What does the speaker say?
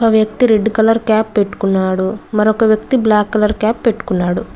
వ్యక్తి red colour cap పెట్టుకున్నాడు మరొక వ్యక్తి బ్లాక్ కలర్ క్యాప్ పెట్టుకున్నాడు.